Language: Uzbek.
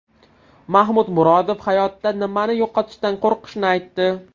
Mahmud Murodov hayotda nimani yo‘qotishdan qo‘rqishini aytdi.